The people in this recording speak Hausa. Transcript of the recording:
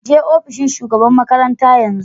Je opishin shugaban makaranta yanzu.